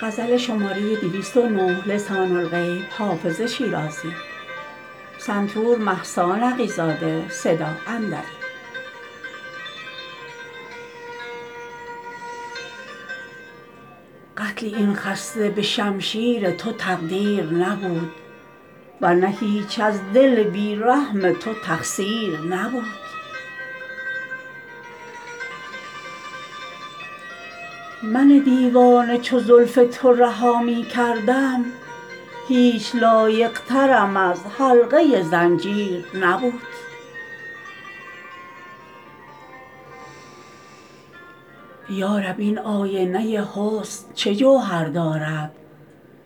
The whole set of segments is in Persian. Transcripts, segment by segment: قتل این خسته به شمشیر تو تقدیر نبود ور نه هیچ از دل بی رحم تو تقصیر نبود من دیوانه چو زلف تو رها می کردم هیچ لایق ترم از حلقه زنجیر نبود یا رب این آینه حسن چه جوهر دارد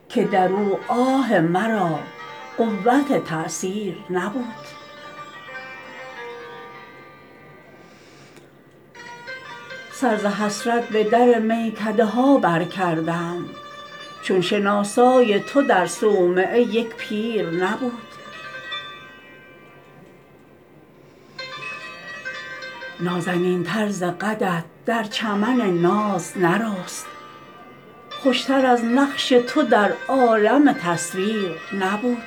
که در او آه مرا قوت تأثیر نبود سر ز حسرت به در میکده ها برکردم چون شناسای تو در صومعه یک پیر نبود نازنین تر ز قدت در چمن ناز نرست خوش تر از نقش تو در عالم تصویر نبود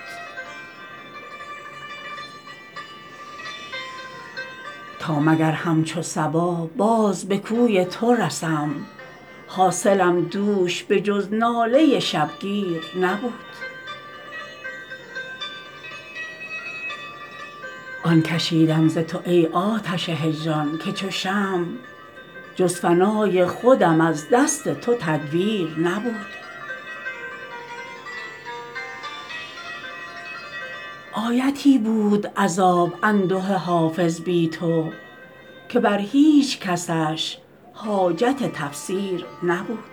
تا مگر همچو صبا باز به کوی تو رسم حاصلم دوش به جز ناله شبگیر نبود آن کشیدم ز تو ای آتش هجران که چو شمع جز فنای خودم از دست تو تدبیر نبود آیتی بود عذاب انده حافظ بی تو که بر هیچ کسش حاجت تفسیر نبود